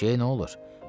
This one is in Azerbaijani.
Eşşəyə nə olur?